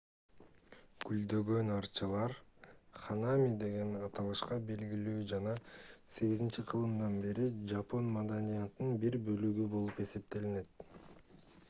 гүлдөгөн алчалар ханами деген аталышта белгилүү жана 8-кылымдан бери жапон маданиятынын бир бөлүгү болуп эсептелет